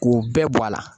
K'u bɛɛ bɔ a la